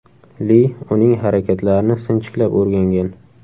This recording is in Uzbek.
Li uning harakatlarini sinchiklab o‘rgangan.